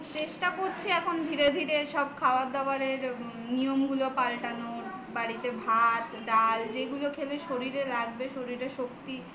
চেষ্টা করছি এখন ধীরে ধীরে সব খাবার দাবারের নিয়ম গুলো পাল্টানোর বাড়িতে ভাত ডাল যেগুলো খেলে শরীরে লাগবে শরীরের শক্তি